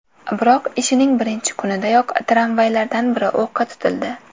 Biroq ishining birinchi kunidayoq tramvaylardan biri o‘qqa tutildi.